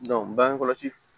bange kɔlɔsi